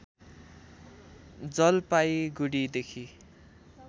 जलपाइगुड़ीदेखि